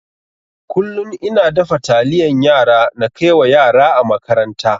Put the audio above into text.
Kullun ina dafa taliyan yara na kaiwa yara a makaranta.